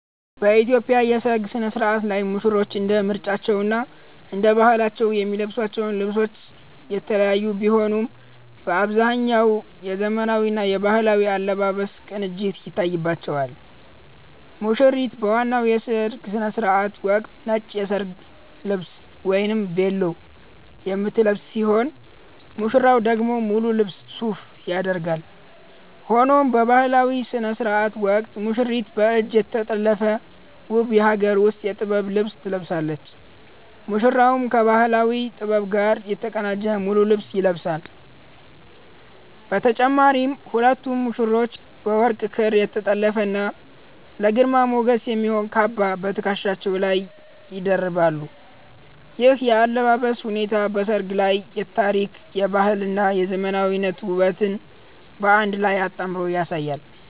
በኢትዮጵያ የሠርግ ሥነ-ሥርዓት ላይ ሙሽሮች እንደ ምርጫቸውና እንደ ባህላቸው የሚለብሷቸው ልብሶች የተለያዩ ቢሆኑም፣ በአብዛኛው የዘመናዊና የባህላዊ አለባበስ ቅንጅት ይታይባቸዋል። ሙሽሪት በዋናው የሥነ-ሥርዓት ወቅት ነጭ የሰርግ ልብስ 'ቬሎ' የምትለብስ ሲሆን፣ ሙሽራው ደግሞ ሙሉ ልብስ 'ሱፍ' ያደርጋል። ሆኖም በባህላዊው ሥነ-ሥርዓት ወቅት ሙሽሪት በእጅ የተጠለፈ ውብ የሀገር ውስጥ የጥበብ ልብስ ትለብሳለች፤ ሙሽራውም ከባህላዊ ጥበብ ጋር የተቀናጀ ሙሉ ልብስ ይለብሳል። በተጨማሪም ሁለቱም ሙሽሮች በወርቅ ክር የተጠለፈና ለግርማ ሞገስ የሚሆን "ካባ" በትከሻቸው ላይ ይደርባሉ። ይህ የአለባበስ ሁኔታ በሠርጉ ላይ የታሪክ፣ የባህልና የዘመናዊነት ውበትን በአንድ ላይ አጣምሮ ያሳያል።